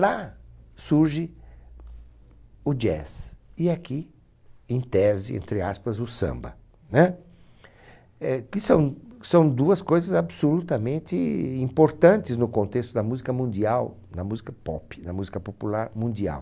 Lá surge o jazz e aqui, em tese, entre aspas, o samba, que são são duas coisas absolutamente importantes no contexto da música mundial, da música pop, da música popular mundial.